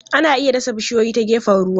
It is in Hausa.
Ana iya dasa bishiyoyi ta gefen ruwa.